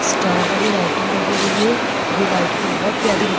Star वाली lighting लगी हुई है जो लाइटिंग बहुत प्यारी।